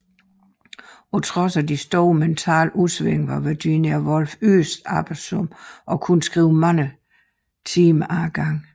På trods af de store mentale udsving var Virginia Woolf yderst arbejdsom og kunne skrive mange timer ad gangen